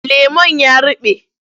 Lemon ya ruɓe.